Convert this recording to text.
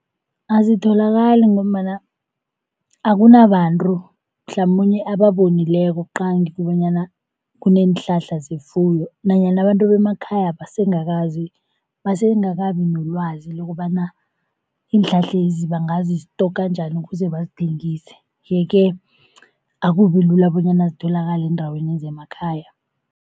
Azitholakali, ngombana akunabantu mhlamunye ababonileko qangi bonyana kuneenhlahla zefuyo nanyana abantu bemakhayapha basengakabi nelwazi lokobana iinhlahlezi bangazistoka njani ukuze bazithengise. Yeke akubi lula bonyana zitholakale eendaweni zemakhaya.